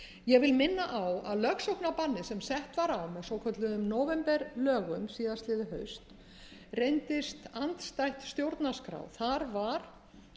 ég vil minna á að lögsóknarbannið sem sett var á með svokölluðum nóvemberlögum síðastliðið haust reyndist andstætt stjórnarskrá þar var bannað með lögum að